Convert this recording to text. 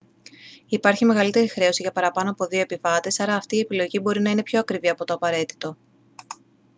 υπάρχει μεγαλύτερη χρέωση για παραπάνω από 2 επιβάτες άρα αυτή η επιλογή μπορεί να είναι πιο ακριβή από το απαραίτητο